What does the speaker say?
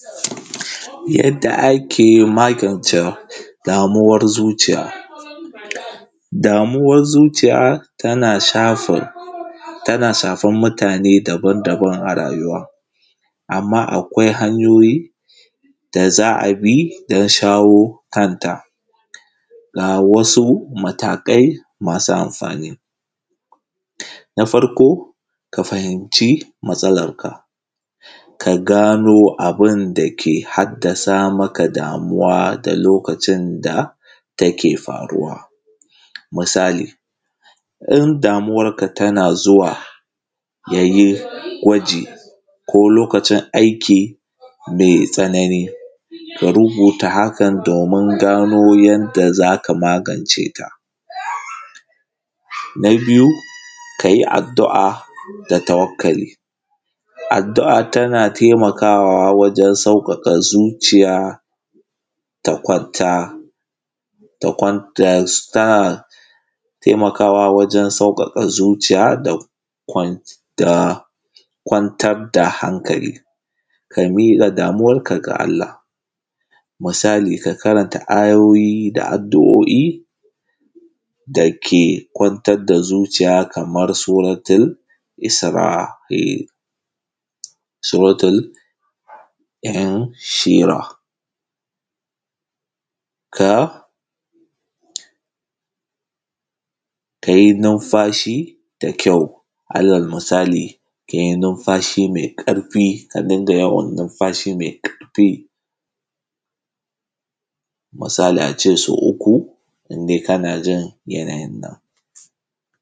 Yadda ake magance damuwan zuciya, damuwar zuciya tana shafar tana shafan mutane daban-daban a rayuwa, amma akwai hanyoyi da za a bi don shawo kanta. Ga wasu matakai masu amfani: na farko ka fahimci matsalarka, ka gano abun da ke haddasa maka damuwa da lokacin da take faruwa misali in damuwar ka tana zuwa yayin gwaji ko lokacin aiki mai tsanani ka rubuta hakan domin gano yadda za ka magance ta. Na biyu ka yi addu’a da tawakkali, addu’a tana taimakawa wajen sauƙaƙa zuciya ta kwanta ta kwanta ta taimakawa wajen sauƙaƙa zuciya da kwantar da hankali, ka miƙa damuwarka da Allah musali ka karanta ayoyi da addu’o’i dake kwantar da zuciya kamar suratul isra’i, sutratul ɗayan shira ka kai numfashi dan kyau alal misali ka yi numfashi mai ƙarfi ka dinga yawan numfashi mai ƙarfi misali a ce so uku indai kana jin yanayinka.